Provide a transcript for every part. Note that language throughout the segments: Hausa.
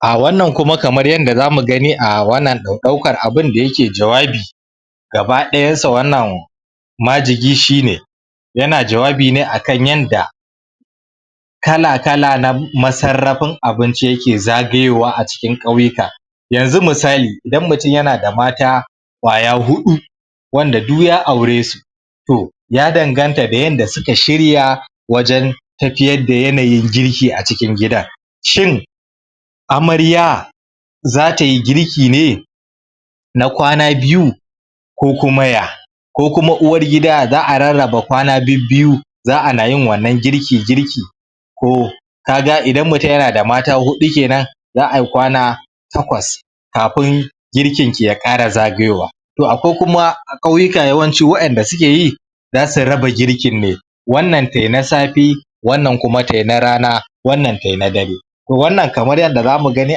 Ah wannan kuma kamar yanda zamu gani ah wannan ɗaukar abinda yake jawabi gaba ɗayansa wannan majigi shi ne yana jawabine akan yanda kala-kala na ma sarrafin abinci yake zagayowa acikin ƙauyuka yanzu misali, idan mutum yanada mata ƙwaya huɗu wanda duk ya aure su toh ya danganta da yanda suka shirya wajen tafiyar da yanayin girki acikin gidan shin amarya zatayi girki ne na kwana biyu ko kuma ya ko kuma uwar gida za'a rarraba kwana bibbiyu za'a nayin wannan girki-girki koh kaga idan mutum yana da mata huɗu kenan za ai kwana takwas kafin girkin ya ƙara zagayowa toh akwai kuma a ƙauyuka yawanci wa'inda sukeyi zasu raba girkin wannan tai na safe wannan kuma tai na rana wannan tai na dare toh wannan kamar yanda zamu gani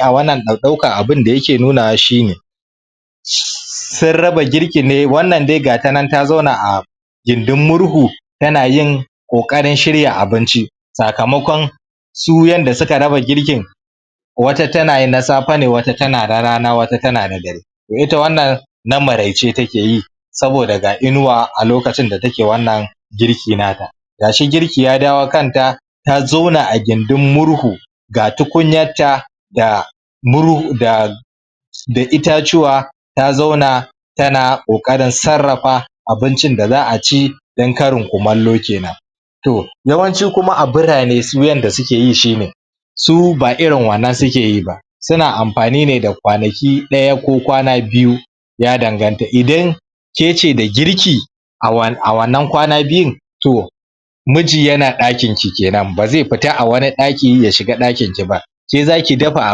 a wannan ɗaukan abinda yake nunawa shi ne sun raba girkin ne wannan dai gata nan ta zauna a gindin murhu tana yin ƙoƙarin shirya abinci sakamakon su yanda suka raba girkin wata tana yin na safe ne wata tana na rana wata tana na dare ita wannan na maraice takeyi saboda ga inuwa a lokacin da take wannan girki na ta gashi girki ya dawo kanta ta zauna a gindin murhu ga tukunyarta ga murhu da da itacuwa ta zauna tana ƙoƙarin sarrafa abincin da za'a ci don karin kumallo kenan toh yawanci kuma a birane su yanda sukeyi shi ne su ba irin wannan sukeyi ba suna amfani ne da kwanaki ɗaya ko kwana biyu ya danganta idan kece da girki a wannan kwana biyun toh miji yana ɗakin ki kenan bazai fita a wani ɗaki ya shiga ɗakin ki ba ke zaki dafa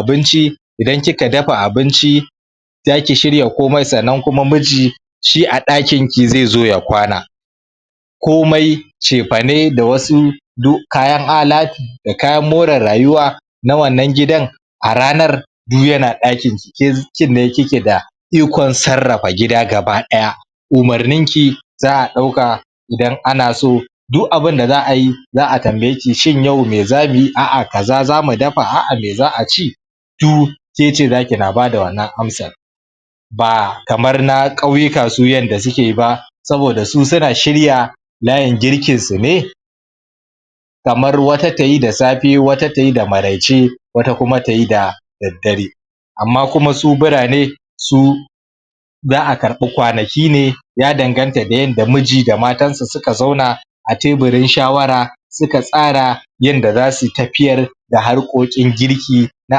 abinci idan kika dafa abinci zaki shirya komai sannan kuma miji shi a ɗakin ki zai zo ya kwana komai cefane da wasu duk kayan alatu da kayan more rayuwa na wannan gidan a ranar duk yana ɗakin ki, ke kinne kike da ikon sarrafa gida gaba ɗaya umarnin ki za'a ɗauka idan ana so duk abinda za'a yi za'a tambaye ki shin yau mai zamuyi a'a kaza zamu dafa a'a mai za'a ci toh kece zaki na bada wannan amsar ba kamar na ƙauyuka su yanda suke ba saboda su suna shirya layin girkin su ne kamar wata tayi da safe wata tayi da maraice wata kuma tayi da daddare amma kuma su birane su za'a karɓi kwanaki ne ya danganta da yanda muji da matansa suka zauna a teburin shawara suka tsara yanda zasu tafiyar da harkokin girki na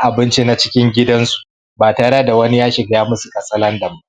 abinci na cikin gidansu ba tare da wani ya shiga yayi musu katsalandan ba